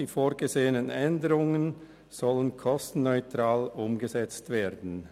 Die vorgesehenen Änderungen sollen kostenneutral umgesetzt werden.